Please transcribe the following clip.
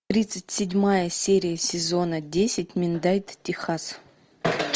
тридцать седьмая серия сезона десять миндайт техас